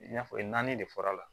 I n'a fɔ naani de fɔra la